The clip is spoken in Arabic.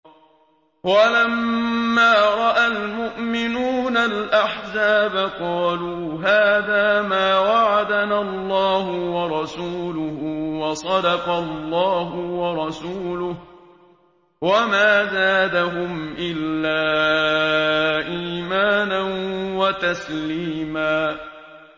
وَلَمَّا رَأَى الْمُؤْمِنُونَ الْأَحْزَابَ قَالُوا هَٰذَا مَا وَعَدَنَا اللَّهُ وَرَسُولُهُ وَصَدَقَ اللَّهُ وَرَسُولُهُ ۚ وَمَا زَادَهُمْ إِلَّا إِيمَانًا وَتَسْلِيمًا